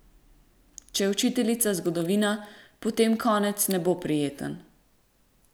Če je učiteljica zgodovina, potem konec ne bo prijeten.